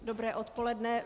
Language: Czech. Dobré odpoledne.